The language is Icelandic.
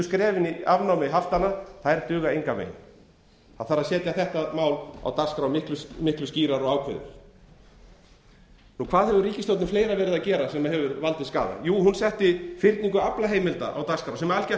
skrefin í afnámi haftanna duga engan veginn það þarf að setja þetta mál á dagskrá miklu skýrar og ákveðið hvað hefur ríkisstjórnin gert fleira sem hefur valdið skaða jú hún setti fyrningu aflaheimilda á dagskrá sem algjört